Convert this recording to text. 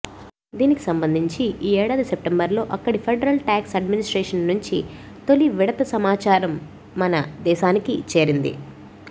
దీనికి సంబంధించి ఈ ఏడాది సెప్టెంబర్లో అక్కడి ఫెడరల్ ట్యాక్స్ అడ్మినిస్ట్రేషన్ నుంచి తొలి విడత సమాచారం మనదేశానికి చేరింది